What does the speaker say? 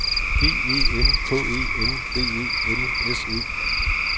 G E N K E N D E L S E